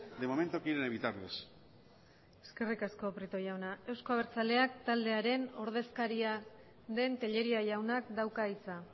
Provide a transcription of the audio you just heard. de momento quieren evitarles eskerrik asko prieto jauna euzko abertzaleak taldearen ordezkaria den tellería jaunak dauka hitza